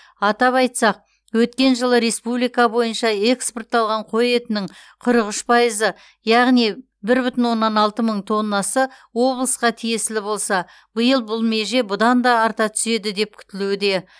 атап айтсақ өткен жылы республика бойынша экспортталған қой етінің қырық үш пайызы яғни бір бүтін оннан алты мың тоннасы облысқа тиесілі болса биыл бұл меже бұдан да арта түседі деп күтілуде